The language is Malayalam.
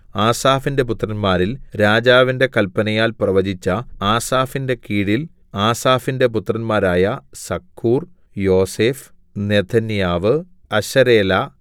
ആസാഫിന്റെ പുത്രന്മാരിൽ രാജാവിന്റെ കല്പനയാൽ പ്രവചിച്ച ആസാഫിന്റെ കീഴിൽ ആസാഫിന്റെ പുത്രന്മാരായ സക്കൂർ യോസേഫ് നെഥന്യാവ് അശരേലാ